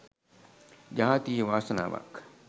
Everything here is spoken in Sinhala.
ජාතියේ වාසනාවක්.